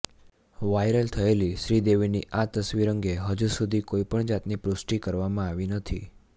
viral થયેલી શ્રીદેવીની આ તસવીર અંગે હજુ સુધી કોઈ પણ જાતની પૃષ્ટિ કરવામાં આવી નથી